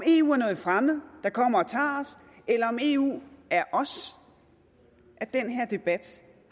eu er noget fremmed der kommer og tager os eller om eu er os at den her debat